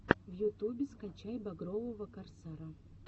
в ютубе скачай багрового корсара